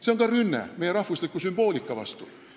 See on ka rünne meie rahvusliku sümboolika vastu.